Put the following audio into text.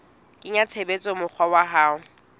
kenya tshebetsong mokgwa wa ho